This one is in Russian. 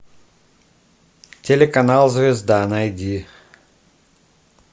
телеканал звезда найди